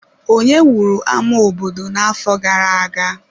Onye wuru ama obodo n'afọ gara-aga?